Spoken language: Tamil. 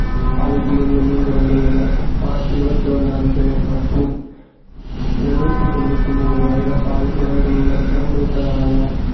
பாதிப்பிலிருந்து மீண்டு வந்துள்ளனர் மார்ச் இருபத்தி ஒண்ணு அன்று மட்டும் எழுநூத்தி தொண்ணூத்தி மூணு வைரஸால் இறந்துள்ள~ இறந்துவிட்டதாக